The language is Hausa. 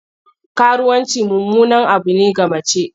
Karuwanci mummunan abu ne ga mace.